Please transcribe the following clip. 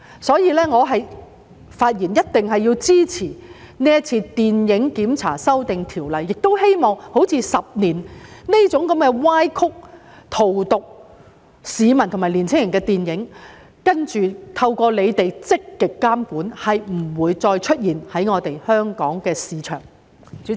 所以，我發言支持修訂電影檢查制度的建議，並希望像《十年》這種歪曲事實、荼毒市民和年青人的電影，今後透過當局的積極監管不會再在香港市場出現。